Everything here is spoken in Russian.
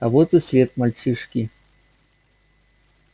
а вот и след мальчишки